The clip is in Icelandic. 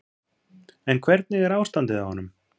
En hvernig er ástandið á honum?